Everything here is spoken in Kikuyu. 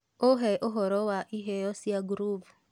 uheũhoro wa iheo cĩa groove